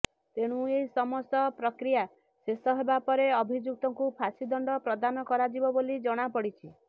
ତେଣୁ ଏହି ସମସ୍ତ ପ୍ରକ୍ରିୟା ଶେଷ ହେବା ପରେ ଅଭିଯୁକ୍ତଙ୍କୁ ଫାଶୀ ଦଣ୍ଡ ପ୍ରଦାନ କରାଯିବ ବୋଲି ଜଣାପଡିଛି